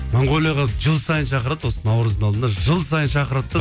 монголияға жыл сайын шақырады осы наурыздың алдында жыл сайын шақырады да